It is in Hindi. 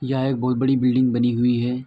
यह एक बहुत बड़ी बिल्डिंग बनी हुई है।